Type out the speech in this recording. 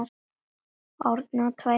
Árni á tvær dætur.